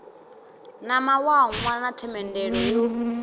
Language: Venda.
na mawanwa na themendelo yo